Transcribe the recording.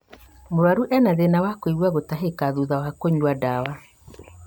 Mũrwaru ena thĩna wa kũigua gũtahĩka thutha wa kũnyua ndawa